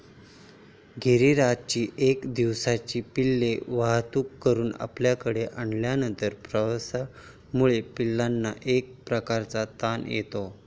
गिरिराजची एक दिवसांची पिल्ले वाहतूक करून आपल्याकडे आणल्यानंतर प्रवासामुळे पिल्लांना एक प्रकारचा ताण येतो.